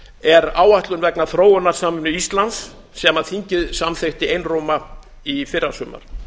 er áætlun vegna þróunarsamvinnu íslands sem þingið samþykkti einróma í fyrrasumar